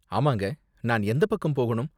ஆமாங்க, நான் எந்தப் பக்கம் போகணும்?